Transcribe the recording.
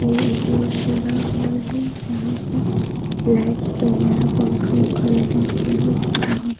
यह एक बोहुत बड़ा हॉल है। यहाँ पे लाइट्स वगैरह पंखा वन्खा लगा हुआ है इसका